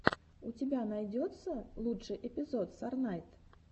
у тебя найдется лучший эпизод сорнайд